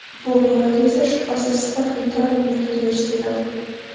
bu borada esa shubhasiz sifatli ta’limga ehtiyoj sezadi.